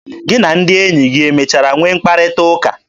Gị na ndị enyi gị emechara nwee mkparịta ụka?